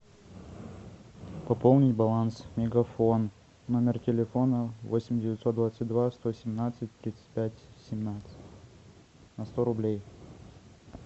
пополнить баланс мегафон номер телефона восемь девятьсот двадцать два сто семнадцать тридцать пять семнадцать на сто рублей